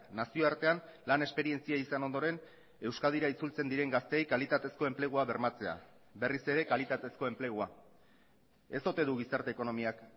nazioartean lan esperientzia izan ondoren euskadira itzultzen diren gazteei kalitatezko enplegua bermatzea berriz ere kalitatezko enplegua ez ote du gizarte ekonomiak